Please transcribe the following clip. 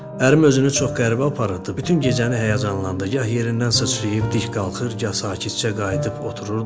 Ərim özünü çox qəribə aparırdı, bütün gecəni həyəcanlandı, gah yerindən sıçrayıb dik qalxır, gah sakitcə qayıdıb otururdu.